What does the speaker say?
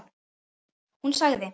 Hún sagði